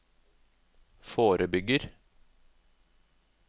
forebygger